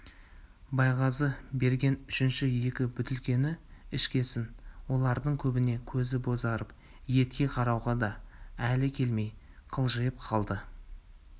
байғазы берген үшінші екі бөтелкені ішкесін олардың көбінің көзі бозарып етке қарауға да әлі келмей қылжиып қалды